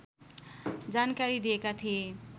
जानकारी दिएका थिए